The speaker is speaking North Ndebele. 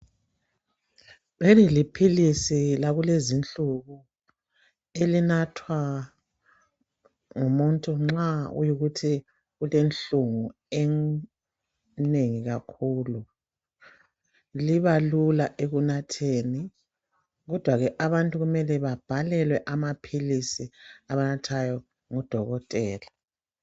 Leli liphilisi lakulezizinsuku elinathwa ngabantu abanengi kufuze umuntu abhalelwe ngudokotela andubana elinathwa ukuze lisebenza kuhle emzimbeni.